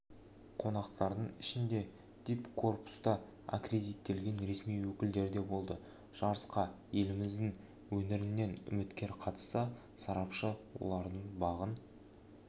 қонақтардың ішінде дипкорпуста аккредиттелген ресми өкілдер де болды жарысқа еліміздің өңірінен үміткер қатысса сарапшы олардың бағын